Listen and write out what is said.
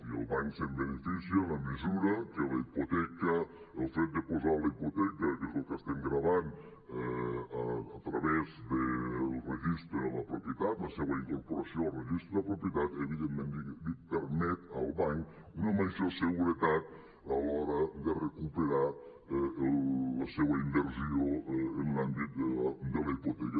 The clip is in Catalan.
i el banc se’n beneficia en la mesura que la hipoteca el fet de posar la hipoteca que és el que estem gravant a través del regis·tre de la propietat la seua incorporació al registre de la propietat evidentment li permet al banc una major seguretat a l’hora de recuperar la seua inversió en l’àmbit de la hipoteca